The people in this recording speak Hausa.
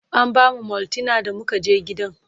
an bamu maltina da muka je gidan